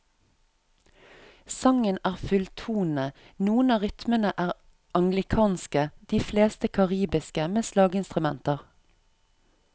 Sangen er fulltonende, noen av rytmene er anglikanske, de fleste karibiske med slaginstrumenter.